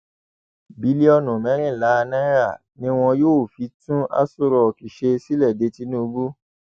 bílíọnù mẹrìnlá náírà ni wọn yóò fi tún aṣọ rock ṣe sílẹ de tinubu